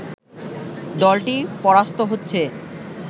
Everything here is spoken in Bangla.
দলটি পরাস্ত হচ্ছে